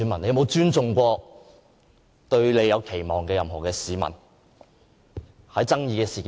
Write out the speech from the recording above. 他有否給予對他有期望的市民任何尊重？